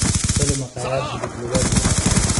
ku tali makhaayad hilib lugeed leh